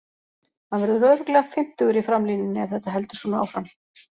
Hann verður örugglega fimmtugur í framlínunni ef þetta heldur svona áfram.